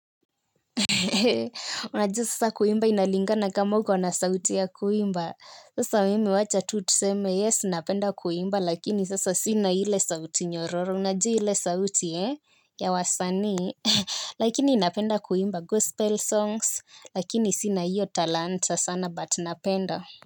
Hehehe, unajua sasa kuimba inalingana kama uko na sauti ya kuimba. Sasa mimi wacha tu tuseme yes, napenda kuimba lakini sasa sina ile sauti nyororo. Unajua ile sauti, he? Ya wasanii. Lakini napenda kuimba gospel songs lakini sina hiyo talanta sana but napenda.